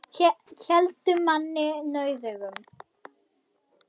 Héldu manni nauðugum